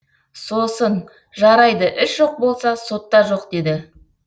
сосын жарайды іс жоқ болса сот та жоқ деді